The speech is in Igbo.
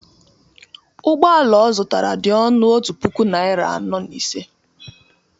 ụgbọ ala ọ zụtara dị ọnụ otu puku naịra anọ na ise